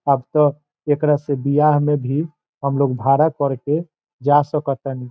अब तो एकरा से बियाह में भी हम लोग भरा करके जा सकती।